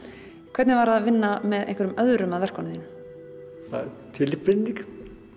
hvernig var að vinna með einhverjum öðrum að verkunum þínum bara tilbreyting